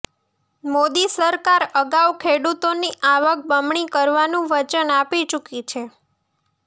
મોદી સરકાર અગાઉ ખેડૂતોની આવક બમણી કરવાનું વચન આપી ચૂકી છે